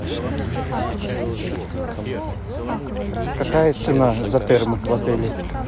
какая цена за термы в отеле